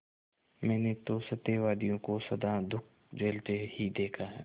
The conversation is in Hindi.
मैंने तो सत्यवादियों को सदा दुःख झेलते ही देखा है